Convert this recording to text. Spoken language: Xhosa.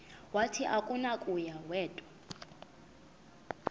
wathi akunakuya wedw